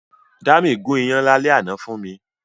Dámi gùn iyán lálẹ́ àná fún mi